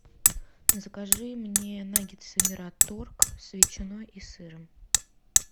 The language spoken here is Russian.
закажи мне наггетсы мираторг с ветчиной и сыром